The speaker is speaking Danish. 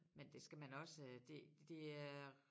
Men det skal man også øh det det er